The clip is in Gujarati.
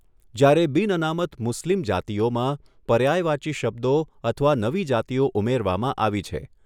જ્યારે બિન અનામત મુસ્લિમ જાતિઓમાં પર્યાયવાચી શબ્દો અથવા નવી જાતિઓ ઉમેરવામાં આવી છે.